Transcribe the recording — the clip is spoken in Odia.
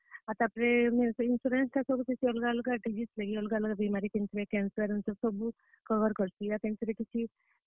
ବେଲେ ତାପରେ insurance ଟା ଅଲଗା ଅଲଗା disease ଲାଗି, ଅଲଗା ଅଲଗା ବିମାରୀ ଲାଗି, କେନ୍ ଥିରେ cancer ସବୁ cover କରସି।